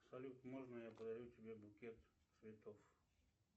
салют можно я подарю тебе букет цветов